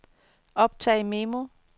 optag memo